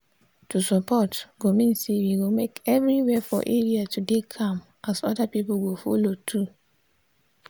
to support go mean say we go make everywhere for area to dey calm as other people go follow too.